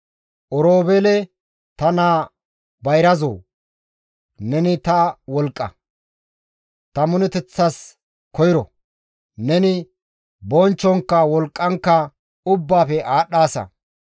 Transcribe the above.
«Oroobeele ta naa bayrazoo, neni ta wolqqa; ta minoteththas koyro; neni bonchchonkka wolqqankka ubbaafe aadhdhaasa.